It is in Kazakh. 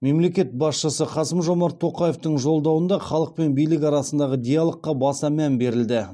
мемлекет басшысы қасым жомарт тоқаевтың жолдауында халық пен билік арасындағы диалогқа баса мән берілді